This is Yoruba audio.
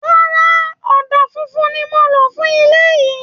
Rárá, ọ̀dà fúnfun ni mò ń lò fún ilé yín